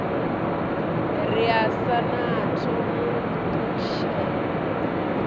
re asnath o mu ṱutshela